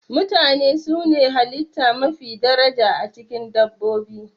Mutane su ne halitta mafi daraja, a cikin dabbobi.